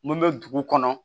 Mun bɛ dugu kɔnɔ